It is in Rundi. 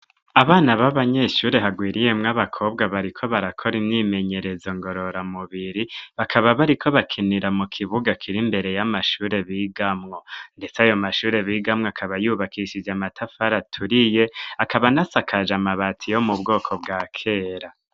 Abana b'abanyeshuri hagwiriyemwo abakobwa bariko barakora imyimenyerezo ngorora mubiri bakaba bari ko bakinira mu kibuga kiri imbere y'amashure bigamwo ndetse ayo mashure b'igamwo akaba yubakishize amatafari aturiye akaba nasakaje amabati yo mu bwoko bwa kera.